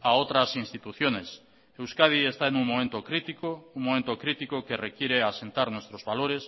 a otras instituciones euskadi está en un momento crítico un momento crítico que requiere asentar nuestros valores